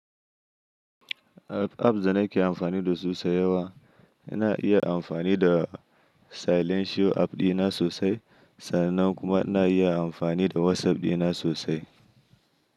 App, apps da nake amfani da su sau da yawa, ina iya amfani da Silent Show app dina sosai sannan kuma ina iya amfani da WhatsApp dina sosai.